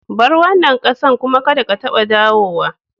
Bar wanan kasan kuma kadda ka taba dawowa!